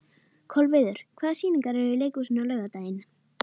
Kolviður, hvaða sýningar eru í leikhúsinu á laugardaginn?